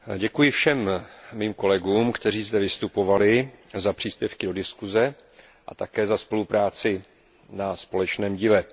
Pane předsedající, děkuji všem mým kolegům, kteří zde vystupovali, za příspěvky do diskuze a také za spolupráci na společném díle.